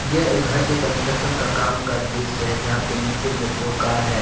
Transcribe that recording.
यह एक घर के का काम का दृश्य है जहां पर नीचे में दो कार है।